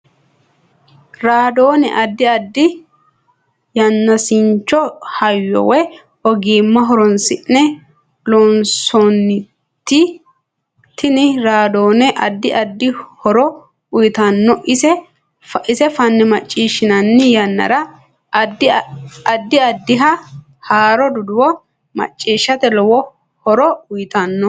Radoone addi addi yanaasincho hayyo woy ogimma horoonsine loonsoonite tini raadoone addi addi horo uyiitanno ise fanne maciishinanni yannara addi addiha haaro duduwo maciishate lowo horo uyiitanno